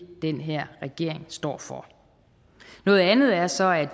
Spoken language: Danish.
det den her regering står for noget andet er så at